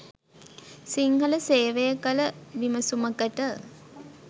සිංහල සේවය කළ විමසුමකට